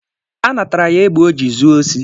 Anatara ya egbe o ji zuo osi.